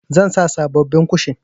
Zan sa sabobbin kushin.